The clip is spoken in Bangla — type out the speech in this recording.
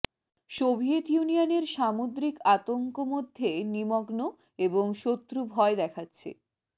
সোভিয়েত ইউনিয়নের সামুদ্রিক আতঙ্ক মধ্যে নিমগ্ন এবং শত্রু ভয় দেখাচ্ছে